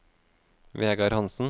Vegar Hansen